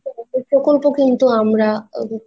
এরকম ছোট ছোট প্রকল্প কিন্তু আমরা আহ